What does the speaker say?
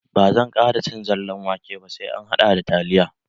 Ba zan ƙara cin zallan wake ba, sai an hada da taliya.